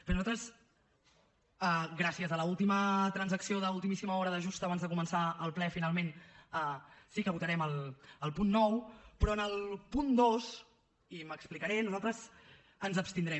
bé nosaltres gràcies a l’última transacció d’ultimíssima hora de just abans de començar el ple finalment sí que votarem el punt nou però en el punt dos i m’explicaré nosaltres ens abstindrem